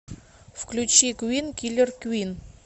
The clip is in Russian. включи квин киллер квин